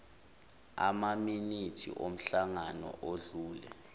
amaminithi omhlangano odlule